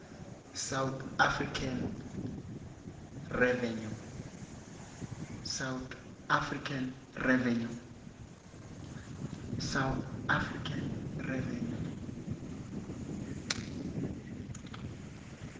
south african revenue